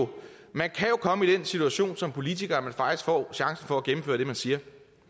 man kan jo komme i den situation som politiker at man faktisk får chancen for at gennemføre det man siger